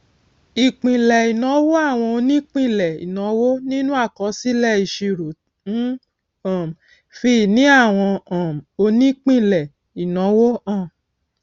ìpínlẹ ìnáwó àwọn onípínlé ìnáwó nínú àkọsílẹìṣirò ń um fi ìní àwọn um onípínlẹ ìnáwó hàn